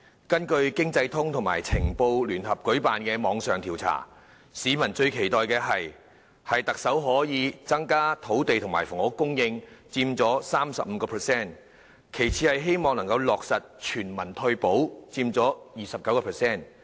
經濟通及《晴報》聯合舉辦的網上調查發現，市民最期待特首可增加土地及房屋供應，佔受訪者 35%； 其次是希望落實全民退保，佔 29%。